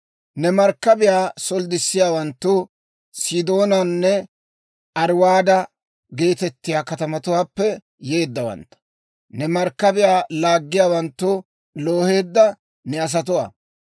Ne markkabiyaa solddissiyaawanttu Sidoonanne Ariwaada geetettiyaa katamatuwaappe yeeddawantta; ne markkabiyaa laaggiyaawanttu looheedda ne asatuwaa.